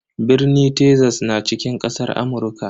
Birni Texas na cikin kasar Amurka.